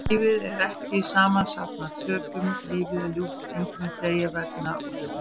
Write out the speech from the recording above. Lífið er ekki samansafn af töpum, lífið er ljúft, enginn mun deyja vegna úrslitanna.